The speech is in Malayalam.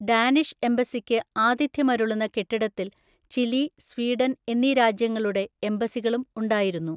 ഡാനിഷ് എംബസിക്ക് ആതിഥ്യമരുളുന്ന കെട്ടിടത്തിൽ ചിലി, സ്വീഡൻ എന്നീ രാജ്യങ്ങളുടെ എംബസികളും ഉണ്ടായിരുന്നു.